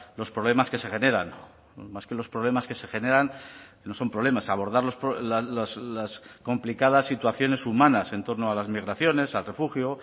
los problemas que se generan más que los problemas que se generan no son problemas abordar las complicadas situaciones humanas en torno a las migraciones al refugio